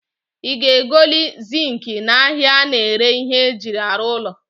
I ga egoli zinki na ahia a na-ere ihe e ji aru ulo